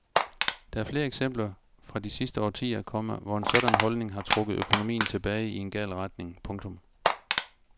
Der er flere eksempler fra de sidste årtier, komma hvor en sådan holdning har trukket økonomien tilbage i en gal retning. punktum